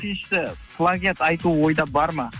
үшіншісі плагиат айту ойда бар ма